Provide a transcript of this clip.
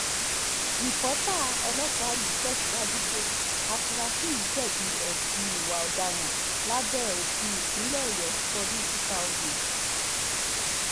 rípẹ́tọ́ ọlọ́pàá yìí tẹ̀síwájú pé àfúrásì yìí jẹ̀bi ẹ̀sùn ìwà ọ̀daràn lábẹ́ òfin ìpínlẹ̀ ọ̀yọ́ tọdún two thousand